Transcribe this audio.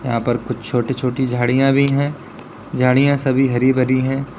यहां पर कुछ छोटी छोटी झाड़ियां भी है झाड़ियां सभी हरी भरी है।